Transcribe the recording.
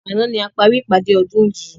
Àná ni a parí ìpàdé ọdún yii